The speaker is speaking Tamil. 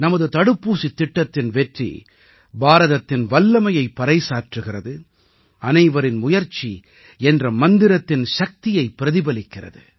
நமது தடுப்பூசித் திட்டத்தின் வெற்றி பாரதத்தின் வல்லமையைப் பறைசாற்றுகிறது அனைவரின் முயற்சி என்ற மந்திரத்தின் சக்தியைப் பிரதிபலிக்கிறது